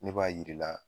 Ne b'a yir'i la